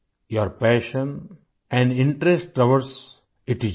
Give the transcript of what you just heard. Your passion and interest towards it is great